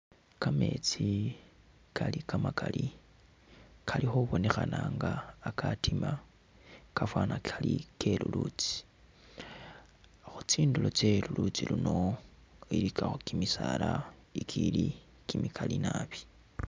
Kameetsi kali kamakali kali khubonekhana nga akatima kafana kali kelulutsi ,khutsinduro khwe lulutsi luno ilikakho kimisala ikili kimikali nabi.